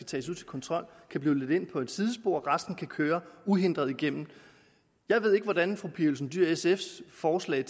til kontrol kan blive ledt ind på et sidespor og resten kan køre uændret igennem jeg ved ikke hvordan fru pia olsen dyhr og sfs forslag